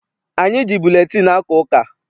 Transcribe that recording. Anyị ji buletịịnụ aka ụka.